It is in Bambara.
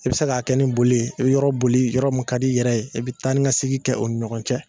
I bɛ se k'a kɛ n boli i bɛ yɔrɔ boli yɔrɔ mun ka di i yɛrɛ ye i bɛ taanikasegin kɛ o ni ɲɔgɔn cɛ